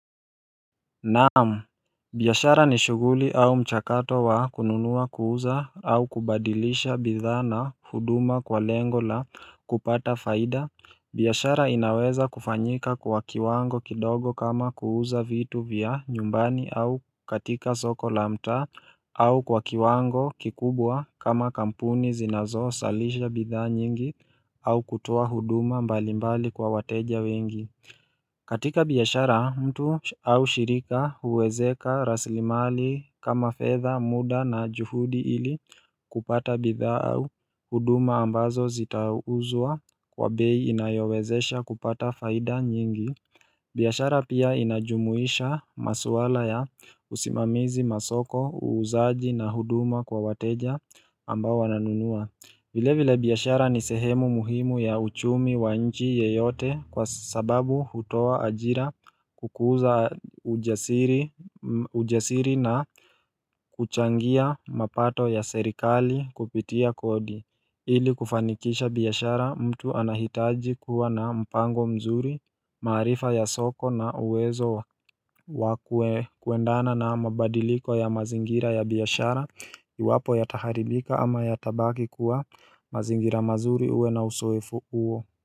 Naam, biashara ni shughuli au mchakato wa kununua, kuuza au kubadilisha bidhaa na huduma kwa lengo la kupata faida. Biashara inaweza kufanyika kwa kiwango kidogo kama kuuza vitu vya nyumbani au katika soko la mtaa au kwa kiwango kikubwa kama kampuni zinazozalisha bidhaa nyingi au kutoa huduma mbalimbali kwa wateja wengi katika biashara, mtu au shirika huwezeka raslimali kama fedha muda na juhudi ili kupata bidhaa au huduma ambazo zitauzwa kwa bei inayowezesha kupata faida nyingi. Biashara pia inajumuisha maswala ya usimamizi masoko, uuzaji na huduma kwa wateja ambao wananunua. Vile vile, biashara ni sehemu muhimu ya uchumi wa nchi yoyote kwa sababu hutoa ajira, hukuza ujasiri na huchangia mapato ya serikali kupitia kodi. Ili kufanikisha biashara, mtu anahitaji kuwa na mpango mzuri, maarifa ya soko na uwezo wa kuendana na mabadiliko ya mazingira ya biashara Iwapo yataharibika ama yatabaki kuwa mazingira mazuri uwe na uzoefu huo.